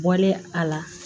Bɔlen a la